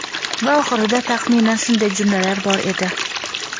va oxirida taxminan shunday jumlalar bor edi.